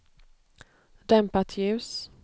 dämpat ljus